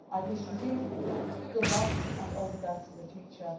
here. I wish you good luck and all the best for the